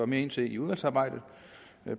mere ind til i udvalgsarbejdet